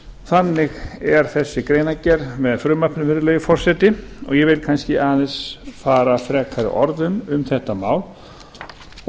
þannig er þessi greinargerð með frumvarpinu virðulegi forseti og ég vil kannski aðeins fara frekari orðum um þetta mál og